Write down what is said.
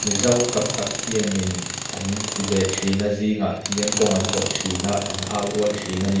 mizo tamtak hian in an ti ve thin a zingah hian kawng an zawh thin a an au rual thin a ni.